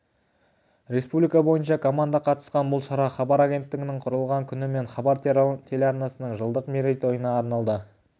республика бойынша команда қатысқан бұл шара хабар агенттігінің құрылған күні мен хабар телеарнасының жылдық мерейтойына арналды